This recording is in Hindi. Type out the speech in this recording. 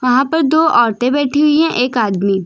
वहां पर दो औरते बैठी हुई हैं एक आदमी।